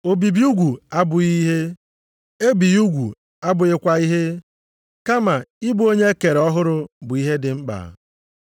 Obibi ugwu abụghị ihe, ebighị ugwu abụghịkwa ihe, kama ị bụ onye e kere ọhụrụ bụ ihe dị mkpa.